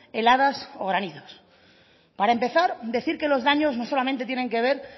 heladas o granizos para empezar decir que los daños no solamente tienen que ver